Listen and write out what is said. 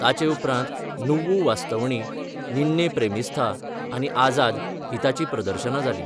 ताचे उपरांत नुव्वु वास्तवणी, निन्ने प्रेमिस्थ, आनी आझाद हीं ताचीं प्रदर्शनां जालीं.